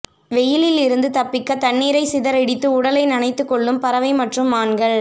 வெயிலில் இருந்து தப்பிக்க தண்ணீரை சிதறடித்து உடலை நனைத்துக் கொள்ளும் பறவை மற்றும் மான்கள்